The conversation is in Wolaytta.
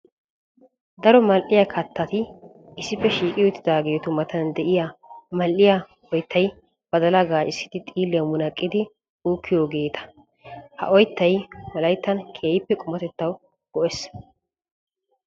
Daro mal'iya katatti issippe shiiqi utidaagetu matan de'iya mal'iya oyttay badalla gaacissiddi xiilliya munaqqidi uukiyoogetta. Ha oyttay wolayttan keehippe qumatettawu go'ees.